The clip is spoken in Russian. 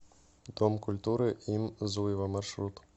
дом культуры им зуева маршрут